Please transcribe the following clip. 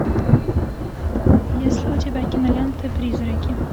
есть ли у тебя кинолента призраки